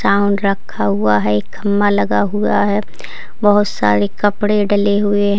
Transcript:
छावन रखा हुआ है एक खम्भा लगा हुआ है बोहोत सारे कपड़े डले हुए --